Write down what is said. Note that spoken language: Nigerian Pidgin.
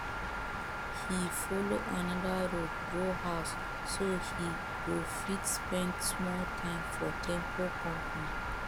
he follow anoda road go house so he go fit spend small time for temple compound